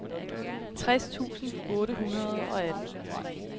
tres tusind otte hundrede og atten